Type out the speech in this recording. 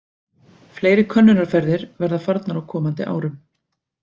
Fleiri könnunarferðir verða farnar á komandi árum.